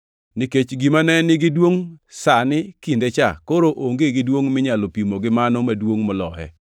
Nikech gimane nigi duongʼ sani kindecha koro onge gi duongʼ minyalo pimo gi mano maduongʼ moloye.